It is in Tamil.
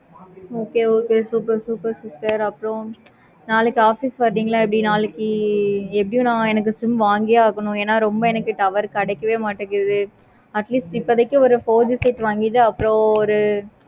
okay okay super super super நாளைக்கு office வருவீங்களா எப்படி? எப்படின்னா எனக்கு sim வாங்கியே ஆகணும். ரொம்ப எனக்கு tower கிடைக்கவே மாடிக்கு. atleast இப்போதைக்கு ஒரு set வாங்கிட்டு